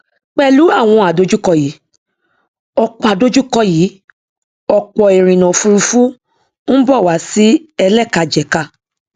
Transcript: pẹlú àwọn àdojúkọ yìí ọpọ àdojúkọ yìí ọpọ ìrìnà òfurufú ń bọ wà sí ẹlẹkajẹka